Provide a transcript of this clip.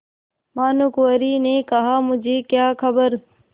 भानुकुँवरि ने कहामुझे क्या खबर